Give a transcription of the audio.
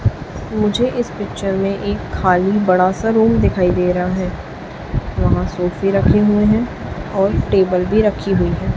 मुझे इस पिक्चर में एक खाली बड़ा सा रूम दिखाई दे रहा है वहां सोफे रखे हुए है और टेबल भी रखी हुई है।